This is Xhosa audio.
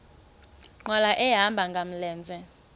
nkqwala ehamba ngamlenze